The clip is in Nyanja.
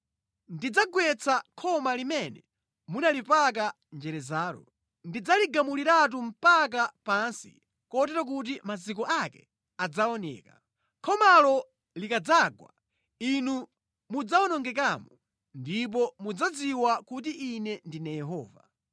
Ndidzagwetsa khoma limene munalipaka njerezalo. Ndidzaligumuliratu mpaka pansi kotero kuti maziko ake adzaoneka. Khomalo likadzagwa, inu mudzawonongekamo; ndipo mudzadziwa kuti Ine ndine Yehova.